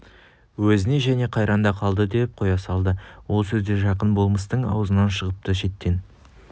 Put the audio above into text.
өзіне және қайран да қалды деп қоя салды ол сөз де жақын болмыстың аузынан шығыпты шеттен